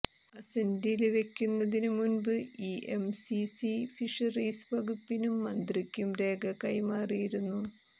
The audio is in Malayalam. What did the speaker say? അസന്റില് വെക്കുന്നതിനു മുന്പ് ഇഎംസിസി ഫിഷറീസ് വകുപ്പിനും മന്ത്രിക്കും രേഖ കൈമാറിയിരുന്നു